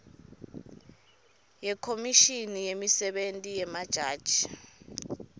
yekhomishini yemisebenti yemajaji